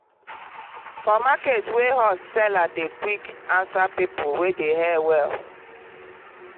for market wey hot seller dey quick answer people wey dey hail well.